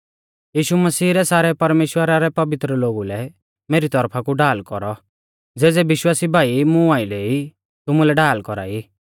यीशु मसीह रै सारै परमेश्‍वरा रै पवित्र लोगु लै मेरी तौरफा कु ढाल कौरौ ज़ेज़ै विश्वासी भाई मुं आइलै ई तुमुलै ढाल कौरा ई